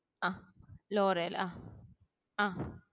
ആഹ് അഹ് ലോറയൽ ആ